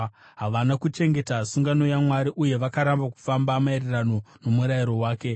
havana kuchengeta sungano yaMwari, uye vakaramba kufamba maererano nomurayiro wake.